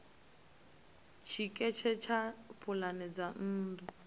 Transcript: tshiketshe tsha pulane dza nnḓu